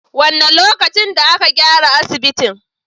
Wane lokacin da aka gyara asibitin?